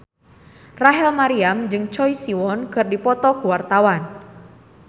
Rachel Maryam jeung Choi Siwon keur dipoto ku wartawan